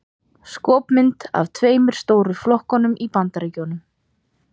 Skopmynd af tveimur stóru flokkunum í Bandaríkjunum.